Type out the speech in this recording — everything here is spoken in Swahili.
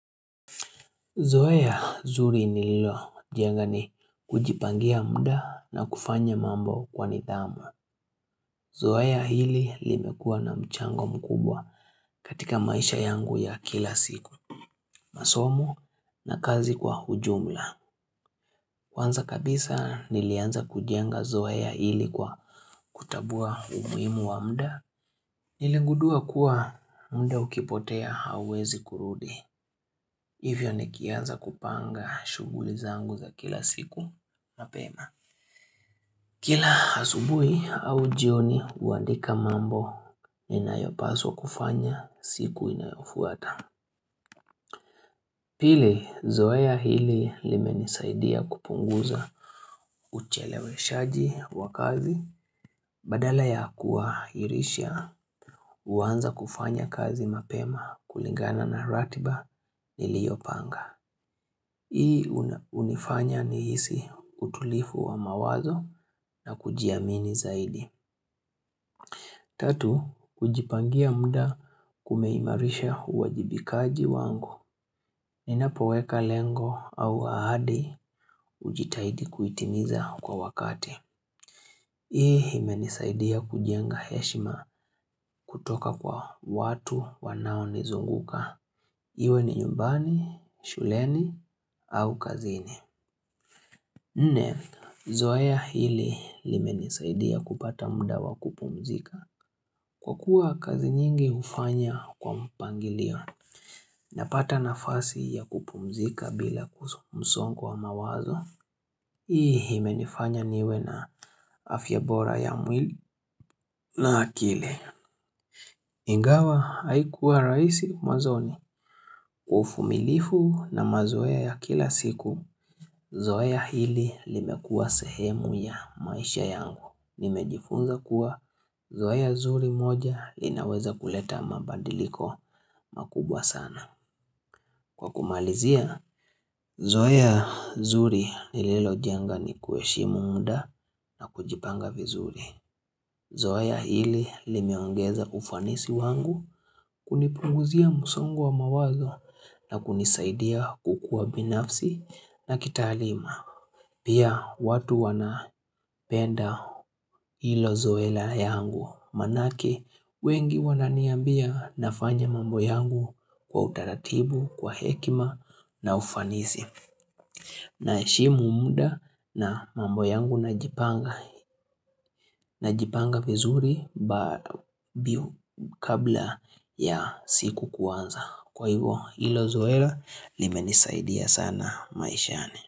Zoea zuri nililojenga ni kujipangia muda na kufanya mambo kwa nidhamu. Zoea hili limekuwa na mchango mkubwa katika maisha yangu ya kila siku. Masomo na kazi kwa ujumla. Kwanza kabisa nilianza kujenga zoea hili kwa kutambua umuhimu wa muda. Niligundua kuwa muda ukipotea hauwezi kurudi. Hivyo nikianza kupanga shughuli zangu za kila siku. Kila asubuhi au jioni huandika mambo inayopaswa kufanya siku inayofuata. Pili zoea hili limenisaidia kupunguza ucheleweshaji wa kazi. Badala ya kuhairisha, huanza kufanya kazi mapema kulingana na ratiba niliopanga. Hii hunifanya nihisi utulivu wa mawazo na kujiamini zaidi. Tatu, kujipangia muda kumeimarisha uwajibikaji wangu. Ninapoweka lengo au ahadi hujitahidi kuitimiza kwa wakati. Hii imenisaidia kujenga heshima, kutoka kwa watu wanaonizunguka. Iwe ni nyumbani, shuleni au kazini. Nne, zoea hili limenisaidia kupata muda wa kupumzika. Kwa kuwa kazi nyingi hufanya kwa mpangilio, napata nafasi ya kupumzika bila msongo wa mawazo, hii imenifanya niwe na afya bora ya mwili na akili. Ingawa haikuwa rahisi, mwanzoni, uvumilifu na mazoea ya kila siku. Zoea hili limekua sehemu ya maisha yangu. Nimejifunza kuwa zoea zuri moja linaweza kuleta mabadiliko makubwa sana. Kwa kumalizia, zoea zuri nililojenga, ni kuheshimu muda na kujipanga vizuri. Zoea hili limeongeza ufanisi wangu kunipunguzia msongo wa mawazo na kunisaidia kukuwa binafsi na kitaalima. Pia watu wanapenda hilo zoea yangu, maanake wengi wananiambia nafanya mambo yangu wa utaratibu, kwa hekima na ufanisi, naheshimu muda na mambo yangu najipanga Najipanga vizuri kabla ya siku kuanza, kwa hivyo hilo zoea limenisaidia sana maishani.